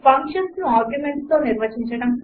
ఫంక్షన్స్ను ఆర్గుమెంట్స్తో నిర్వచించడం